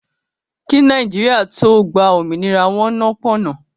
Kí Nàìjíríà tó gbá òmìnira, wọn nọ́ pọ̀n-ọ́n